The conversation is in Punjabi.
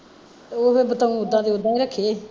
ਉਹ ਫੇਰ ਬਤਾਊ ਉਦਾ ਦੇ ਉਦਾ ਈ ਰੱਖੇ ਐ